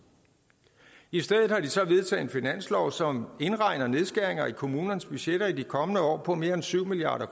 i stedet har de så vedtaget en finanslov som indregner nedskæringer i kommunernes budgetter i de kommende år på mere end syv milliard